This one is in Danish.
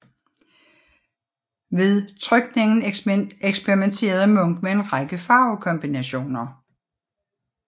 Ved trykningen eksperimenterede Munch med en række farvekombinationer